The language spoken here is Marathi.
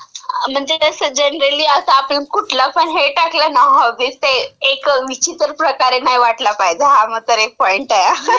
म्हणजे असं जनरली आता आपण कुठला पण हे टाकलं ना, हे हॉबीज म्हणून, ते एक विचित्र प्रकारे नाही वाटला पाहिजे. हा मात्र एक पॉइंट आहे हां. ter